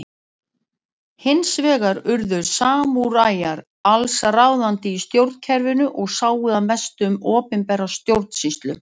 Hins vegar urðu samúræjar alls ráðandi í stjórnkerfinu og sáu að mestu um opinbera stjórnsýslu.